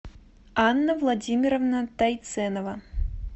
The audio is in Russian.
анна владимировна тайценова